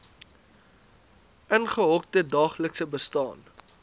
ingehokte daaglikse bestaan